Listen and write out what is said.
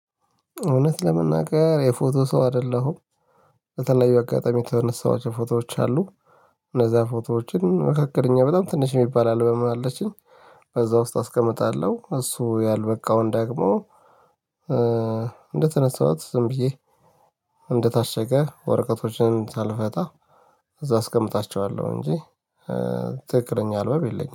እውነት ለመናገር የፎቶ ሰው አደለሁም። በተለያዩ አጋጣሚ የተነሳዋቸው ፎቶዎች አሉ። እነዛ ፎቶዎችን መካከለኛ በጣም ትንሽ የሚባል አልበም አለችኝ። በዛ ውስጥ አስቀምጣለሁ እሱ ያልበቃውን ዳግሞ። እንደተነሳኋት ዝም ብዬ እንደታሸገ ወረቀቶችን ሳልፈታ እዛ አስቀምጣቸዋለሁ እንጂ። ትክክለኛ አልበም የለኝም